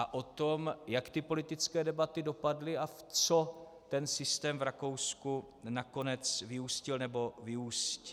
A o tom, jak ty politické debaty dopadly a v co ten systém v Rakousku nakonec vyústil nebo vyústí.